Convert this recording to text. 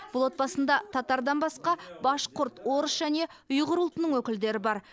бұл отбасында татардан басқа башқұрт орыс және ұйғыр ұлтының өкілдері бар